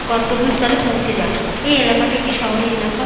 গন্তব্যস্থলে পৌঁছে যায় এই এলাকাটি একটি শহরে এলাকা।